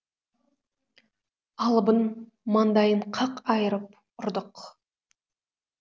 алыбын маңдайын қақ айырып ұрдық